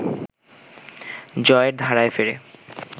জয়ের ধারায় ফেরে